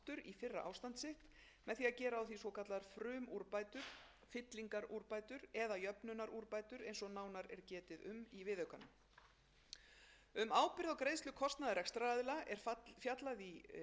í fyrra ástand sitt með því að gera á því svokallaðar frumúrbætur fyllingarúrbætur eða jöfnunarúrbætur eins og nánar er getið um í viðaukanum um ábyrgð á greiðslu kostnaðar rekstraraðila er fjallað í fjórða kafla frumvarpsins